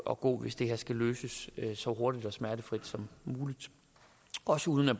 at gå hvis det her skal løses så hurtigt og smertefrit som muligt også uden at